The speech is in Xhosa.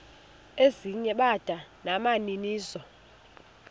ezinye bada nabaninizo